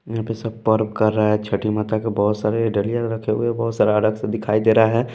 यहाँ पे सब पर्व कर रहा है छठी माता के बहुत सारे डालियाँ रखे हुए बहुत सारा अर्ग से दिखाई दे रहा है।